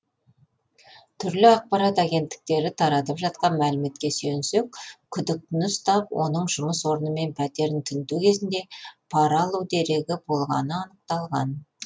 түрлі ақпарат агенттіктері таратып жатқан мәліметке сүйенсек күдіктіні ұстап оның жұмыс орны мен пәтерін тінту кезінде пара алу дерегі болғаны анықталған